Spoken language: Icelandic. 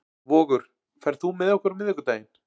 Vogur, ferð þú með okkur á miðvikudaginn?